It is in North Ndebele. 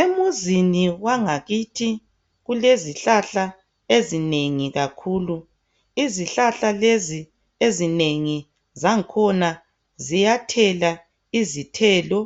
Emzini wangakithi kulezihlahla ezinengi kakhulu. Izihlahla lezi ezinengi zakhona ziyathela izithelo